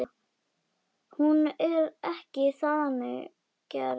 Hún er ekki þannig gerð.